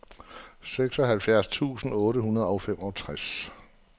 seksoghalvfems tusind otte hundrede og femogtres